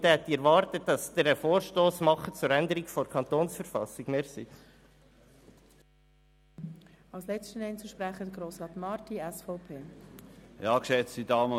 Hier hätte ich erwartet, dass Sie einen Vorstoss zur Änderung der Verfassung des Kantons Bern (KV) unterbreiten.